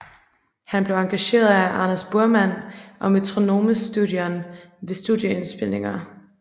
Han blev engageret af Anders Burman og Metronomestudion ved studieindspilninger